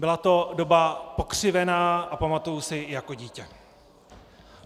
Byla to doba pokřivená a pamatuji si ji jako dítě.